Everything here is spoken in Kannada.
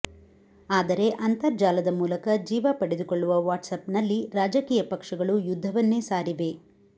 ಆದರೆ ಅಂತರ್ಜಾಲದ ಮೂಲಕ ಜೀವ ಪಡೆದುಕೊಳ್ಳುವ ವಾಟ್ಸ್ಆ್ಯಪ್ನಲ್ಲಿ ರಾಜಕೀಯ ಪಕ್ಷಗಳು ಯುದ್ಧವನ್ನೇ ಸಾರಿವೆ